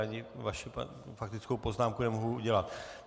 Ani vaši faktickou poznámku nemohu udělit.